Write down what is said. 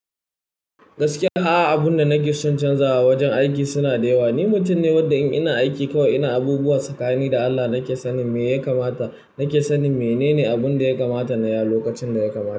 Gaskiya, a'a abunda nake son canzawa wajen aiki suna da yawa. Ni mutum ne wadda in ina aiki kawai ina abubuwa sakani da Allah nake sanin me ya kamata, nake sanin menene abunda ya kamata nayi a lokacin da ya kamata.